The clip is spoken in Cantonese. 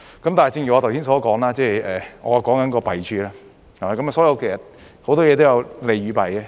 但是，正如我剛才所說，我說的是弊處，所以其實很多事情都有利有弊。